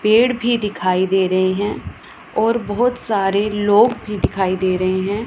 पेड़ भी दिखाई दे रहे हैं और बहुत सारे लोग भी दिखाई दे रहे हैं।